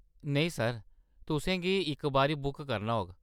नेईं सर, तुसें इसी इक बारी बुक करना होग।